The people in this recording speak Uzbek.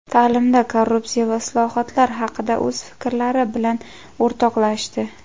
ta’limda korrupsiya va islohotlar haqida o‘z fikrlari bilan o‘rtoqlashdi.